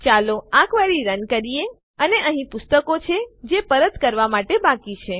ચાલો આ query run કરીએ અને અહીં પુસ્તકો છે જે પરત કરવાં માટે બાકી છે